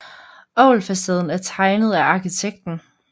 Orgelfacaden er tegnet af arkitekten Th